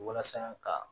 Walasa ka